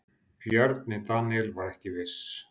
Bjarni Daníel var ekki viss.